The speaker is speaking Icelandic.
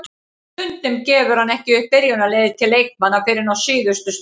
Stundum gefur hann ekki upp byrjunarliðið til leikmanna fyrr en á síðustu stundu.